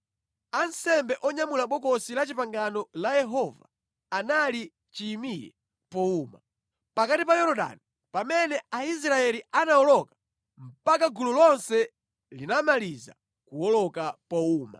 Ansembe onyamula Bokosi la Chipangano la Yehova anali chiyimire powuma, pakati pa Yorodani pamene Aisraeli amawoloka mpaka gulu lonse linamaliza kuwoloka powuma.